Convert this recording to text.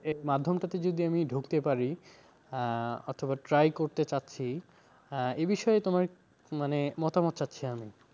এই মাধ্যমটাতে যদি আমি ঢুকতে পারি আহ অথবা try করতে চাচ্ছি এবিষয়ে তোমার মানে মতামত চাচ্ছি আমি